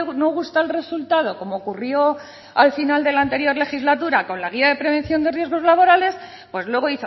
no gusta el resultado como ocurrió al final de la anterior legislatura con la guía de prevención de riesgos laborales pues luego